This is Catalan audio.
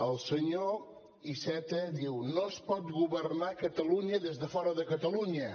el senyor iceta diu no es pot governar catalunya des de fora de catalunya